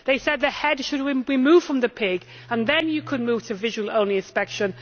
They said the head should be removed from the pig and that then you can move to a visual only inspection.